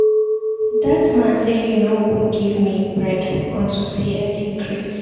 Dat man say he no go give me bread unto say I dey craze.